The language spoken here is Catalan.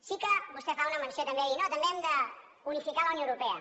sí que vostè fa una menció i també dir no també hem d’unificar a la unió europa